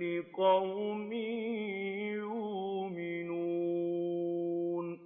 لِّقَوْمٍ يُؤْمِنُونَ